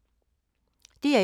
DR1